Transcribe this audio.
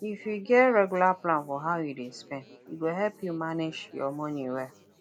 if you get regular plan for how you dey spend e go help you manage your money well